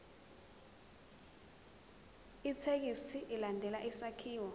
ithekisthi ilandele isakhiwo